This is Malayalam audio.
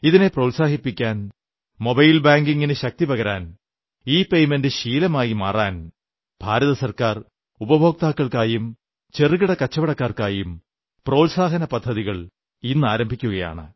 ഇതിനെ പ്രോത്സാഹിപ്പിക്കാൻ മൊബൈൽ ബാങ്കിംഗിനു ശക്തിപകരാൻ ഇപെയ്മന്റ് ശീലമായി മാറാൻ ഭാരത് സർക്കാർ ഉപഭോക്താക്കൾക്കായും ചെറുകിട കച്ചവടക്കാർക്കായും പ്രോത്സാഹന പദ്ധതികൾ ഇന്ന് ആരംഭിക്കുകയാണ്